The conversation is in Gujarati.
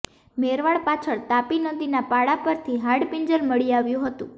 મેરવાડ પાછળ તાપી નદીના પાળા પરથી હાડપિંજર મળી આવ્યું હતું